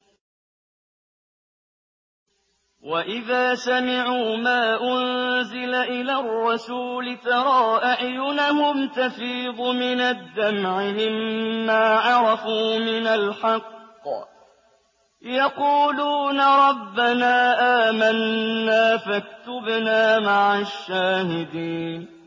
وَإِذَا سَمِعُوا مَا أُنزِلَ إِلَى الرَّسُولِ تَرَىٰ أَعْيُنَهُمْ تَفِيضُ مِنَ الدَّمْعِ مِمَّا عَرَفُوا مِنَ الْحَقِّ ۖ يَقُولُونَ رَبَّنَا آمَنَّا فَاكْتُبْنَا مَعَ الشَّاهِدِينَ